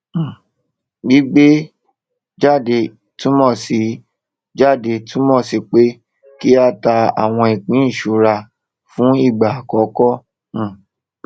um gbígbé jáde túnmọ sí jáde túnmọ sí pé kí á ta àwọn ìpín ìṣura fún ìgbà àkọkọ um